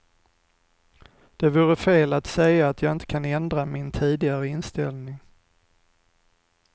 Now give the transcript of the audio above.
Det vore fel att säga att jag inte kan ändra min tidigare inställning.